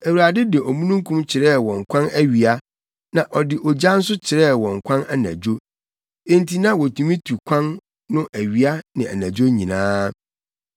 Awurade de omununkum kyerɛɛ wɔn kwan awia na ɔde ogya nso kyerɛɛ wɔn kwan anadwo. Enti na wotumi tu wɔn kwan no awia ne anadwo nyinaa.